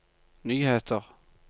nyheter